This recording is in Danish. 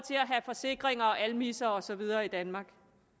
have forsikringer og almisser og så videre i danmark